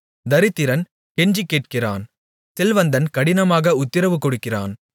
தரித்திரன் கெஞ்சிக்கேட்கிறான் செல்வந்தன் கடினமாக உத்திரவுகொடுக்கிறான்